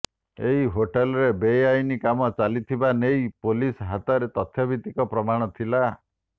ଏହି ହୋଟେଲରେ ବେଆଇନ କାମ ଚାଲିଥିବାନେଇ ପୁଲିସ ହାତରେ ତଥ୍ୟଭିତ୍ତିକ ପ୍ରମାଣ ଥିଲା